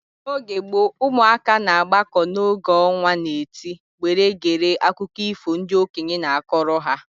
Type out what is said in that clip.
N'oge gboo, ụmụaka na agbako oge ọnwa na-eti were gere akụkọ ifo ndị okenye na-akọrọ ha